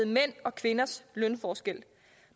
mænds og kvinders lønforskel